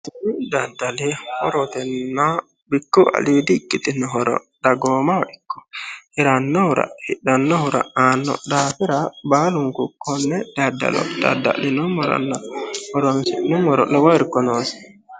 kuni daddali horotenna mitu aliidi ikkitinno horo dagoomaho ikko hirannohura hidhannohura anno daafira baalunku konne daddalo dadda'linummoro horonsi'numoro lowo irko noosi